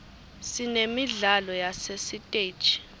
sinemidlalo yasesiteji